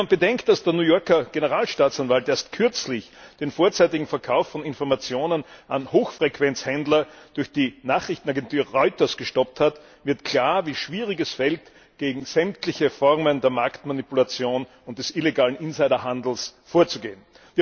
Wenn man bedenkt, dass der New Yorker Generalstaatsanwalt erst kürzlich den vorzeitigen Verkauf von Informationen an Hochfrequenzhändler durch die Nachrichtenagentur Reuters gestoppt hat, wird klar, wie schwer es fällt, gegen sämtliche Formen der Marktmanipulation und des illegalen Insiderhandels vorzugehen.